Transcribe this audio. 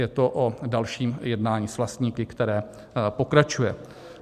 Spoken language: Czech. Je to o dalším jednání s vlastníky, které pokračuje.